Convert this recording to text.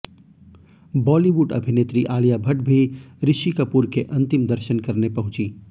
बॉलीवुड अभिनेत्री आलिया भट्ट भी ऋषि कपूर के अंतिम दर्शन करने पहुंची